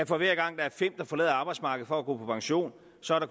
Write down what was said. for hver gang der er fem der forlader arbejdsmarkedet for at gå på pension så